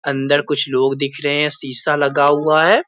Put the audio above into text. अंदर कुछ लोग दिख रहें हैं शीशा लगा हुआ है।